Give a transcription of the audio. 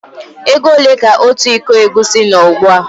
Égo ole ka ọtu ịkọ egwusi nó ugbua?